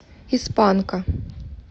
из панка